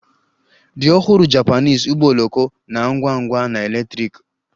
The ọhụrụ Japanese ụgbọ oloko na-ngwa ngwa na electric